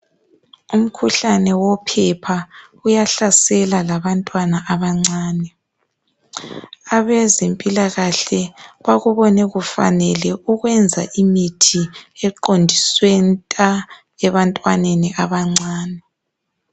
Umkhuhlane wophepha uyahlasela labantwana abancane. Abezempilakahle bakubone kufanele ukwenza imithi eqondiswe nta ebantwaneni abancane.